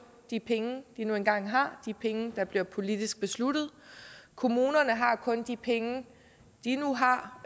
de penge de nu engang har de penge der bliver politisk besluttet kommunerne har kun de penge de nu har